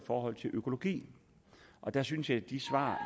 forhold til økologi og der synes jeg at de svar